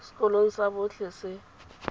sekolong sa botlhe se se